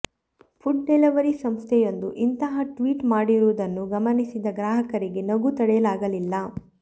food delivery ಸಂಸ್ಥೆಯೊಂದು ಇಂತಹ tweet ಮಾಡಿರುವುದನ್ನು ಗಮನಿಸಿದ ಗ್ರಾಹಕರಿಗೆ ನಗು ತಡೆಯಲಾಗಲಿಲ್ಲ